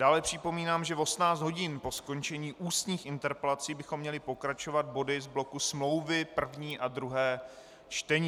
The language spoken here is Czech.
Dále připomínám, že v 18 hodin po skončení ústních interpelací bychom měli pokračovat body z bloku smlouvy, první a druhé čtení.